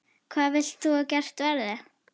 Hvað vilt þú að gert verði?